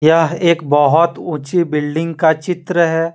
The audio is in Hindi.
यह एक बहोत ऊंची बिल्डिंग का चित्र है।